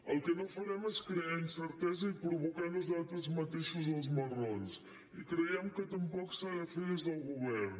el que no farem és crear incertesa i provocar nosaltres mateixos els marrons i creiem que tampoc s’ha de fer des del govern